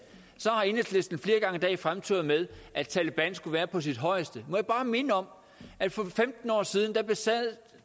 har enhedslisten flere gange i dag fremturet med at taleban skulle være på sit højeste må jeg ikke bare minde om at for femten år siden besad